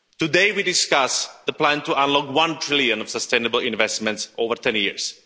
Today we discuss the plan to unlock EUR 1 trillion of sustainable investments over ten years.